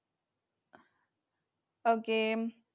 Okay.